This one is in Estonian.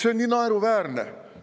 See on nii naeruväärne.